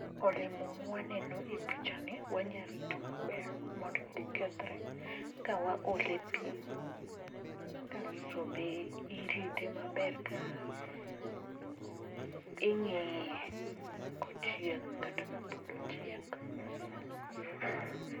Olemo mwaneno e pichani, wanya rito maber mondo kik kethre kawaole pi, kasto be irite maber ka e to ing'iye kochiek kata ka pod otik.